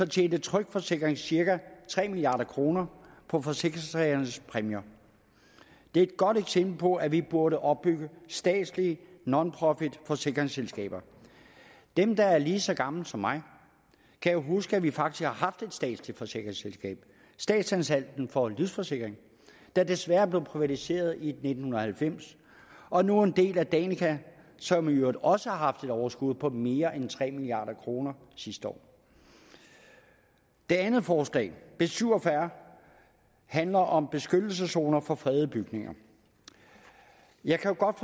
tjente tryg forsikring cirka tre milliard kroner på forsikringstagernes præmier det er et godt eksempel på at vi burde opbygge statslige nonprofitforsikringsselskaber dem der er lige så gamle som mig kan jo huske at vi faktisk har haft et statsligt forsikringsselskab statsanstalten for livsforsikring der desværre blev privatiseret i nitten halvfems og nu er en del af danica som i øvrigt også har haft et overskud på mere end tre milliard kroner sidste år det andet forslag b syv og fyrre handler om beskyttelseszoner for fredede bygninger jeg kan godt